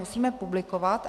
Musíme publikovat.